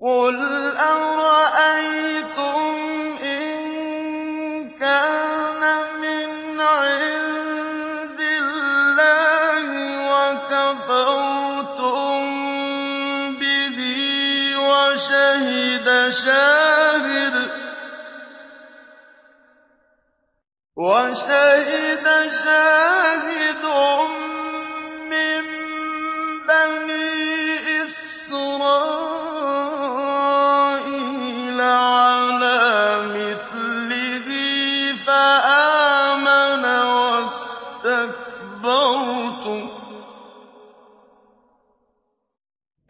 قُلْ أَرَأَيْتُمْ إِن كَانَ مِنْ عِندِ اللَّهِ وَكَفَرْتُم بِهِ وَشَهِدَ شَاهِدٌ مِّن بَنِي إِسْرَائِيلَ عَلَىٰ مِثْلِهِ فَآمَنَ وَاسْتَكْبَرْتُمْ ۖ